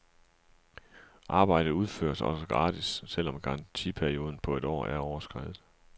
Arbejdet udføres også gratis, selv om garantiperioden på et år er overskredet.